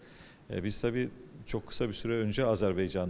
Eee biz təbii ki, çox qısa bir müddət əvvəl Azərbaycanda idik.